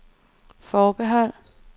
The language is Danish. forbehold